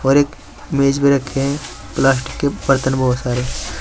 और एक मेज भी रखे हैं प्लास्टिक के बर्तन बहुत सारे--